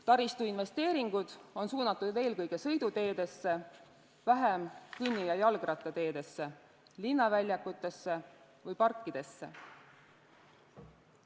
Taristuinvesteeringud on suunatud eelkõige sõiduteedesse, vähem kõnni- ja jalgrattateedesse, linnaväljakutesse või parkidesse.